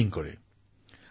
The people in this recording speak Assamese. তেওঁ প্লগিং কৰিছিল